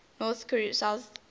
north south relations